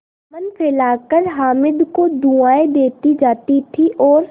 दामन फैलाकर हामिद को दुआएँ देती जाती थी और